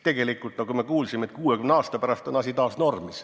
Tegelikult, nagu me kuulsime, 60 aasta pärast on asi taas normis.